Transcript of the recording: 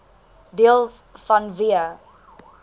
deels vanweë